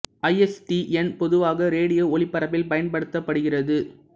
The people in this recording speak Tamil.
ஐ எஸ் டி என் பொதுவாக ரேடியோ ஒலிபரப்பில் பயன்படுத்தப்படுகிறது